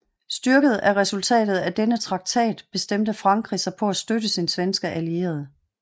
Styrket af resultatet af denne traktat bestræbte Frankrig sig på at støtte sin svenske allierede